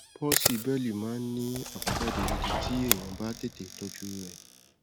palsy bẹẹlì máa ń ní àbájáde gidi tí èèyàn bá tètè tọjú u rẹ